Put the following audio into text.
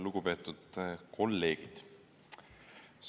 Lugupeetud kolleegid!